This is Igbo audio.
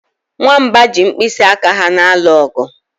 Nwamba ji mkpịsị aka ha na-alụ ọgụ